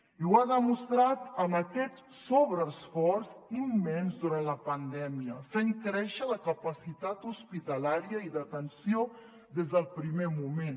i ho ha demostrat amb aquest sobreesforç immens durant la pandèmia fent créixer la capacitat hospitalària i d’atenció des del primer moment